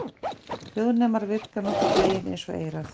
Hljóðnemar virka nokkurn vegin eins og eyrað.